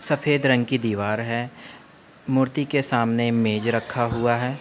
सफ़ेद रंग की दीवार है। मूर्ति के सामने मेज रखा हुआ है।